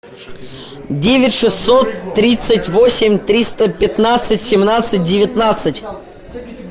девять шестьсот тридцать восемь триста пятнадцать семнадцать девятнадцать